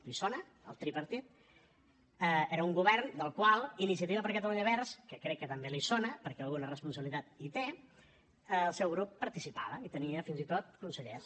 li sona el tripartit era un govern del qual iniciativa per catalunya verds que crec que també li sona perquè alguna responsabilitat hi té el seu grup participava i hi tenia fins i tot consellers